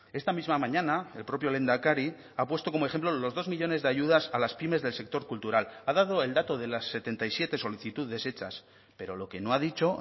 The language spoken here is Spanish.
esta misma mañana el propio lehendakari ha puesto como ejemplo los dos millónes de ayudas a las pymes del sector cultural ha dado el dato de las setenta y siete solicitudes hechas pero lo que no ha dicho